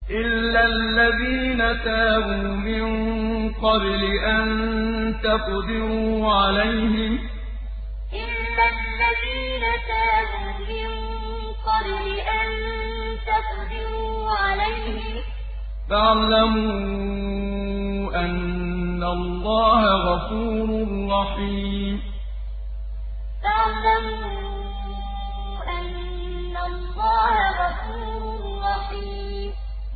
إِلَّا الَّذِينَ تَابُوا مِن قَبْلِ أَن تَقْدِرُوا عَلَيْهِمْ ۖ فَاعْلَمُوا أَنَّ اللَّهَ غَفُورٌ رَّحِيمٌ إِلَّا الَّذِينَ تَابُوا مِن قَبْلِ أَن تَقْدِرُوا عَلَيْهِمْ ۖ فَاعْلَمُوا أَنَّ اللَّهَ غَفُورٌ رَّحِيمٌ